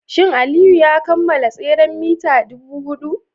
Shin Aliyu ya kammala tseren mita 400?